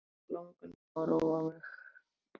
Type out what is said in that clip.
Það tók langan tíma að róa mig.